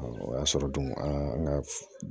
o y'a sɔrɔ dun an ka